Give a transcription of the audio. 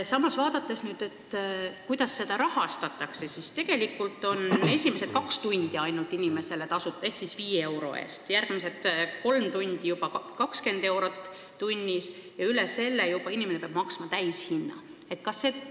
Aga vaadakem, kuidas seda rahastatakse: tegelikult on ainult esimesed kaks tundi inimesele tasuta, järgmised kolm tundi on juba 20 eurot tunnis ja kui läheb üle selle, siis peab inimene maksma täishinna.